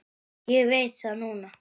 Ég veit það núna.